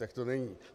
Tak to není.